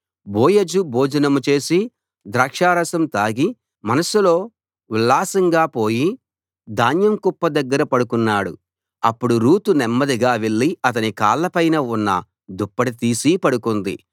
బోయజు భోజనం చేసి ద్రాక్షారసం తాగి మనస్సులో ఉల్లాసంగా పోయి ధాన్యం కుప్ప దగ్గర పడుకున్నాడు అప్పుడు రూతు నెమ్మదిగా వెళ్ళి అతని కాళ్ళ పైన ఉన్న దుప్పటి తీసి పడుకుంది